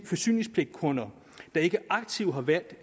forsyningspligtkunder der ikke aktivt har valgt